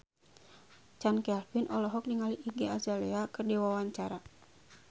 Chand Kelvin olohok ningali Iggy Azalea keur diwawancara